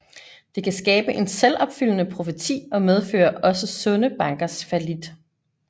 Det kan skabe en selvopfyldende profeti og medføre også sunde bankers fallit